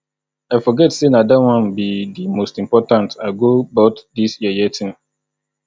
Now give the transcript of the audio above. i forget say na dat one be the most important i go but dis yeye thing